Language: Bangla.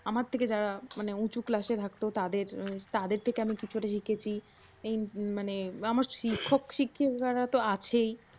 আমার থেকে যারা উঁচু ক্লাসে থাকতো তাদের তাদের থেকে আমি কিছুটা শিখেছি। এই মানে আমার শিক্ষক শিক্ষিকারা তো আছেই